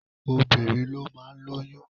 Obìnrin ló máa ń lóyún.